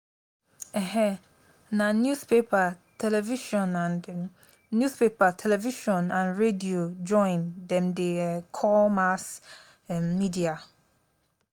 um na newspaper television and newspaper television and radio join dem dey um call mass um media.